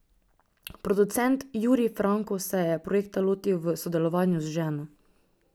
Producent Jurij Franko se je projekta lotil v sodelovanju z ženo.